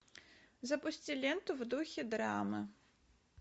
запусти ленту в духе драмы